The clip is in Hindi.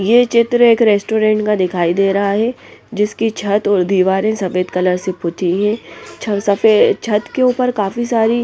ये चित्र एक रेस्टोरेंट का दिखाई दे रहा हैं जिसकी छत और दीवारें सफेद कलर से पुती हैं सफेद छत के ऊपर काफी सारी --